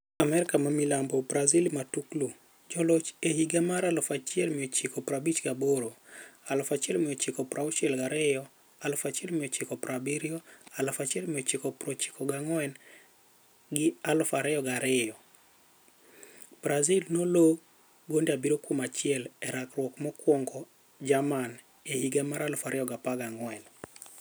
AMERIKA MILAMBO Brazil Matuklu: Joloch e higa mar 1958, 1962, 1970, 1994 na 2002, Brazil nloo 7-1 e rakruok mokwongo Jerman e higa mar 2014.